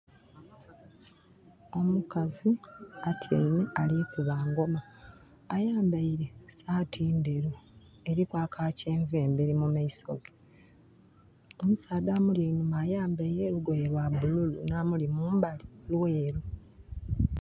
Omukazi atyaime ali kuba ngoma. Ayambaile saati ndheru. Eriku aka kyenvu emberi mu maiso ge. Omusaadha amuli einhuma ayambaile olugoye lwa bululu, nh'amuli mumbali lweeru.